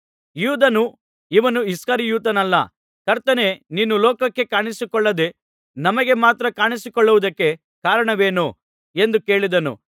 ಯೂದನು ಇವನು ಇಸ್ಕರಿಯೋತನಲ್ಲ ಕರ್ತನೇ ನೀನು ಲೋಕಕ್ಕೆ ಕಾಣಿಸಿಕೊಳ್ಳದೆ ನಮಗೆ ಮಾತ್ರ ಕಾಣಿಸಿಕೊಳ್ಳುವುದಕ್ಕೆ ಕಾರಣವೇನು ಎಂದು ಕೇಳಿದನು